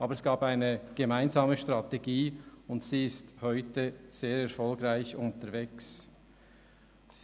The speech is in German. Aber es gab eine gemeinsame Strategie, die bis heute sehr erfolgreich ist.